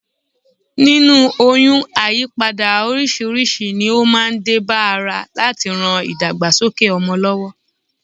Nínú oyún, àyípadà oríṣiríṣi ni ó máa ń dé bá ara láti rán ìdàgbàsókè ọmọ lọ́wọ́